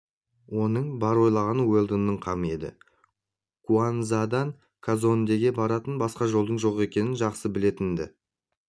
оның бар ойлағаны уэлдонның қамы еді куанзадан казондеге баратын басқа жолдың жоқ екенін жақсы білетін-ді